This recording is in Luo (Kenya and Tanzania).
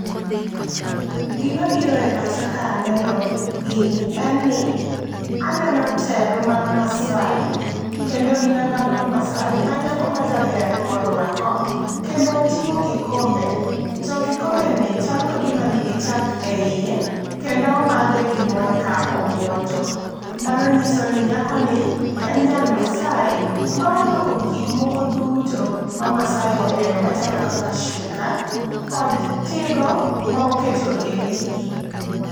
Gima biro e pacha ka aneno gini en ni, aneno teru mag masaai kendo gi nanga mar masaai ma nyako ma jaber orwako kendo oting'o kikombe. To kikombe ni chalo kagima nigi chak e iye kendo omadhe gi mor ka obuonjo . Mano nyiso ni nyako ni en nyar masaai ma orwako gik moko duto ma masaai ohero machalo kaka shuka kod tigo ma oketo ewiye.